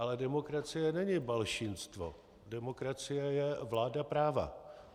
Ale demokracie není balšinstvo, demokracie je vláda práva.